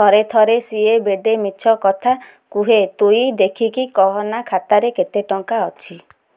ଥରେ ଥରେ ସିଏ ବେଡେ ମିଛ କଥା କୁହେ ତୁଇ ଦେଖିକି କହନା ଖାତାରେ କେତ ଟଙ୍କା ଅଛି